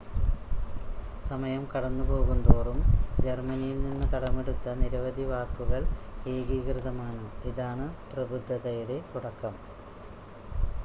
സമയം കടന്നുപോകുന്തോറും ജർമ്മനിൽ നിന്ന് കടമെടുത്ത നിരവധി വാക്കുകൾ ഏകീകൃതമാണ് ഇതാണ് പ്രബുദ്ധതയുടെ തുടക്കം